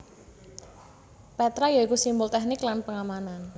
Petra ya iku simbol teknik lan pengamanan